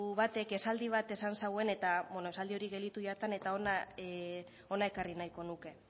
batek esaldi bat esan zuen eta bueno esaldi hori gelditu zait eta hona ekarri nahiko nuke